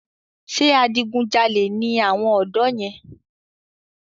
Ṣé adigun jalè ni àwọn ọ̀dọ́ yẹn?